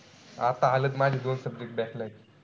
आता माझी